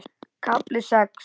KAFLI SEX